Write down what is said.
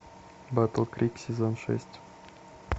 батл крик сезон шесть